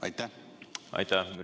Aitäh!